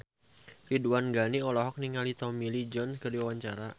Ridwan Ghani olohok ningali Tommy Lee Jones keur diwawancara